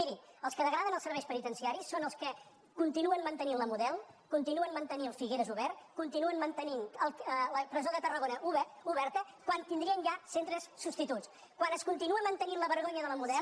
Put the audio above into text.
miri els que degraden els serveis peniten·ciaris són els que continuen mantenint la model con·tinuen mantenint figueres obert continuen mantenint la presó de tarragona oberta quan tindrien ja centres substituts quan es continua mantenint la vergonya de la model